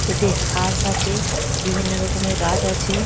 এতে হাঁশ আছে বিভিন্ন রকমের গাছ আছে।